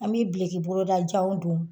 An bɛ bileki bolojanw don